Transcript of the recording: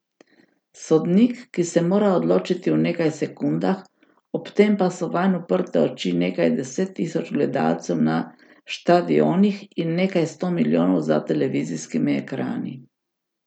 Sodnik, ki se mora odločiti v nekaj v sekundah, ob tem pa so vanj uprte oči nekaj deset tisoč gledalcev na štadionih in nekaj sto milijonov za televizijskimi ekrani.